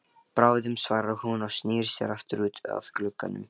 Bráðum svarar hún og snýr sér aftur út að glugganum.